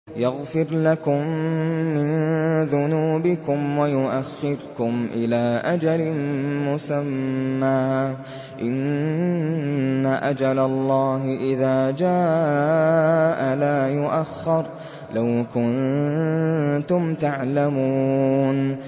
يَغْفِرْ لَكُم مِّن ذُنُوبِكُمْ وَيُؤَخِّرْكُمْ إِلَىٰ أَجَلٍ مُّسَمًّى ۚ إِنَّ أَجَلَ اللَّهِ إِذَا جَاءَ لَا يُؤَخَّرُ ۖ لَوْ كُنتُمْ تَعْلَمُونَ